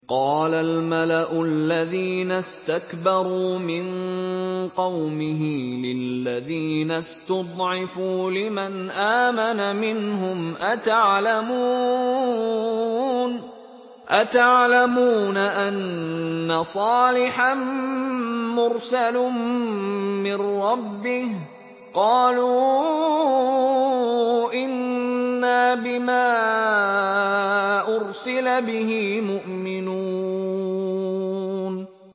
قَالَ الْمَلَأُ الَّذِينَ اسْتَكْبَرُوا مِن قَوْمِهِ لِلَّذِينَ اسْتُضْعِفُوا لِمَنْ آمَنَ مِنْهُمْ أَتَعْلَمُونَ أَنَّ صَالِحًا مُّرْسَلٌ مِّن رَّبِّهِ ۚ قَالُوا إِنَّا بِمَا أُرْسِلَ بِهِ مُؤْمِنُونَ